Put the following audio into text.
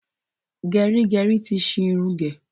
Gẹrígẹrí ti ṣi irun gẹ̀.